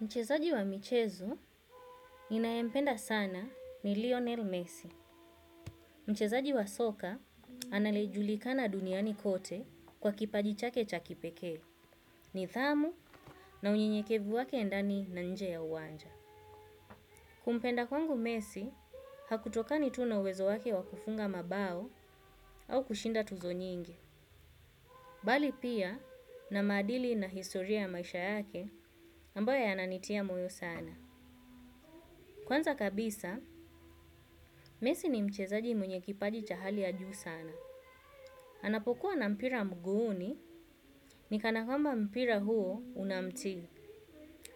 Mchezaji wa michezo ninayempenda sana ni Lionel Messi. Mchezaji wa soka anayejulikana duniani kote kwa kipaji chake cha kipekee. Nidhamu na unyenyekevu wake ndani na nje ya uwanja. Kumpenda kwangu Messi, hakutokani tu na uwezo wake wa kufunga mabao au kushinda tuzo nyingi. Bali pia na maadili na historia ya maisha yake ambayo yananitia moyo sana. Kwanza kabisa, Messi ni mchezaji mwenye kipaji cha hali ya juu sana. Anapokuwa na mpira mguuni, ni kanakwamba mpira huo unamti.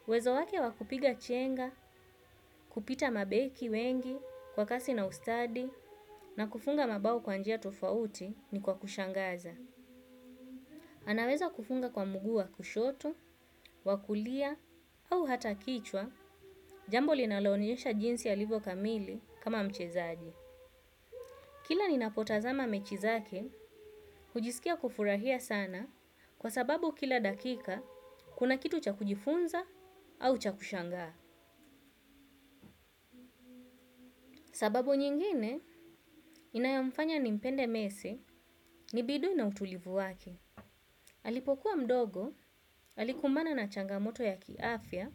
Wezo wake wa kupiga chenga, kupita mabeki wengi kwa kasi na ustadi, na kufunga mabao kwa njia tofauti ni kwa kushangaza. Anaweza kufunga kwa mguu wa kushoto, wa kulia, au hata kichwa, jambo linalonyesha jinsi alivyokamili kama mchezaji. Kila ninapotazama mechi zake, hujisikia kufurahia sana kwa sababu kila dakika kuna kitu cha kujifunza au cha kushangaa. Sababu nyingine inayomfanya nimpende Messi ni bidii na utulivu wake. Alipokuwa mdogo, alikumbana na changamoto ya kiafya,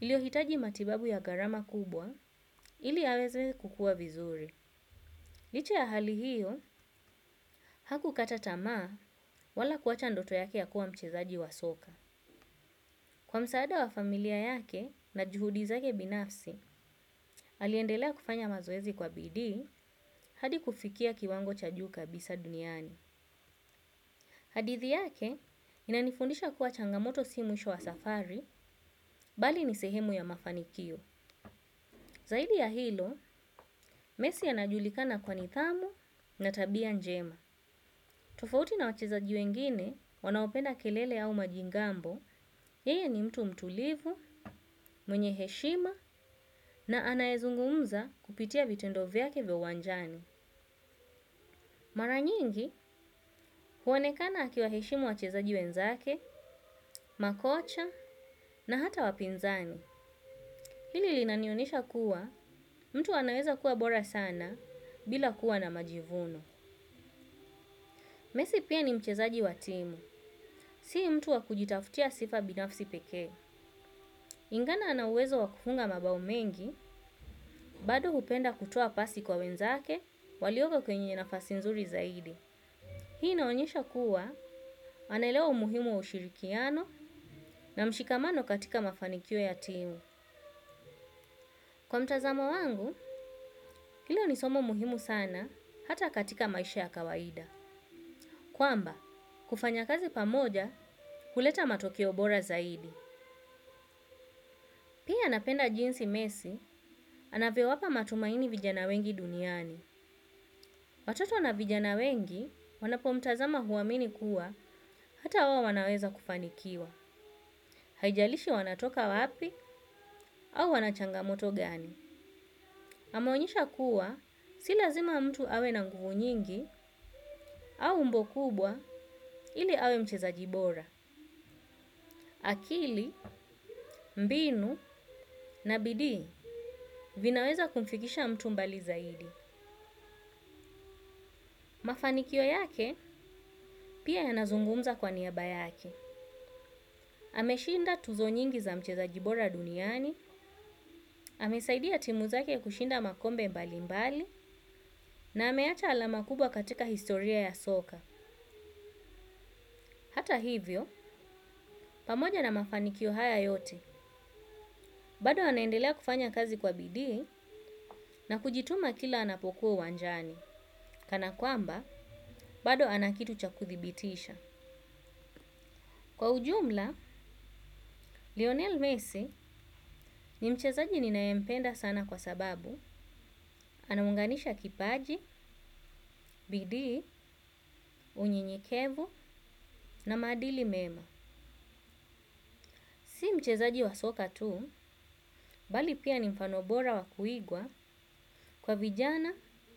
iliyohitaji matibabu ya gharama kubwa, ili aweze kukua vizuri. Licha ya hali hiyo, hakukata tamaa wala kuacha ndoto yake ya kuwa mchezaji wa soka. Kwa msaada wa familia yake na juhudi zake binafsi aliendelea kufanya mazoezi kwa bidii hadi kufikia kiwango cha juu kabisa duniani. Hadithi yake inanifundisha kuwa changamoto si mwisho wa safari bali ni sehemu ya nafanikio. Zaidi ya hilo, Messi anajulikana kwa nidhamu na tabia njema. Tofauti na wachezaji wengine wanaopenda kelele au majigambo, yeye ni mtu mtulivu, mwenye heshima na anayezungumza kupitia vitendo vyake vya uwanjani. Mara nyingi huonekana akiwaheshimu wachezaji wenzake, makocha na hata wapinzani. Hili linanionyesha kuwa, mtu anaweza kuwa bora sana bila kuwa na majivuno. Messi pia ni mchezaji wa timu, si mtu wa kujitafutia sifa binafsi pekee. Ingana ana uwezo wa kufunga mabao mengi, bado hupenda kutoa pasi kwa wenzake walioko kwenye nafasi nzuri zaidi. Hii inaonyesha kuwa, anaelewa umuhimu wa ushirikiano na mshikamano katika mafanikio ya timu. Kwa mtazamo wangu, hilo ni somo muhimu sana hata katika maisha ya kawaida. Kwamba, kufanya kazi pamoja huleta matokeo bora zaidi. Pia napenda jinsi Messi, anavyowapa matumaini vijana wengi duniani. Watoto na vijana wengi wanapomtazama huamini kuwa hata wai wanaweza kufanikiwa. Haijalishi wanatoka wapi au wanachangamoto gani. Amaonyesha kuwa si lazima mtu awe na nguvu nyingi au umbo kubwa ili awe mchezaji bora. Akili, mbinu na bidii vinaweza kumfikisha mtu mbali zaidi. Mafanikio yake pia yanazungumza kwa niaba yake. Ameshinda tuzo nyingi za mchezaji bora duniani, amesaidia timu zake kushinda makombe mbali mbali na ameacha alama kubwa katika historia ya soka. Hata hivyo, pamoja na mafanikio haya yote. Bado anaendelea kufanya kazi kwa bidii na kujituma kila anapokuwa uwanjani. Kana kwamba, bado ana kitu cha kudhibitisha. Kwa ujumla, Lionel Messi ni mchezaji ninayempenda sana kwa sababu anaunganisha kipaji, bidii, unyenyekevu na maadili mema si mchezaji wa soka tu, bali pia ni mfano bora wa kuigwa kwa vijana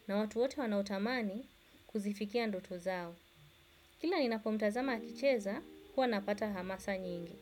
na watu wote wanaotamani kuzifikia ndoto zao. Kila ninapomtazama akicheza kuwa napata hamasa nyingi.